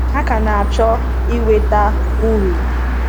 Hà ka na-achọ inweta uru.